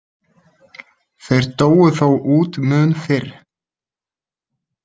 Þeir dóu þó út mun fyrr.